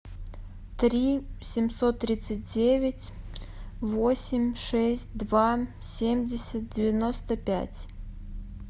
три семьсот тридцать девять восемь шесть два семьдесят девяносто пять